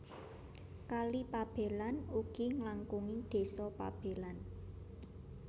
Kali Pabelan ugi nglangkungi desa Pabelan